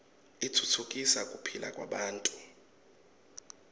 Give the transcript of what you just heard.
utfutfukisa kuphila kwebantfu